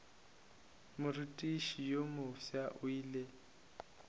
morutiši yo mofsa o ile